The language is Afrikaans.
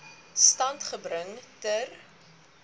stand gebring ter